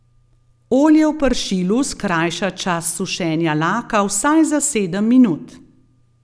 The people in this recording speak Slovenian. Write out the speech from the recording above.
Olje v pršilu skrajša čas sušenja laka vsaj za sedem minut.